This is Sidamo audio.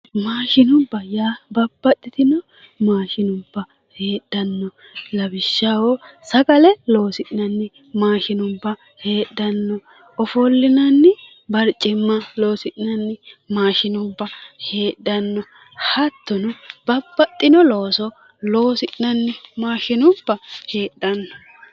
Maashinubbate yaa Babbaxxitino maashinubba heedhanno lawishshaho sagale loosi'nanni maashinubba heedhanno ofollinanni barcimma loosi'nanni maashinubba heedhanno hattono Babbaxxino looso loosi'nanni maashinubba heedhanno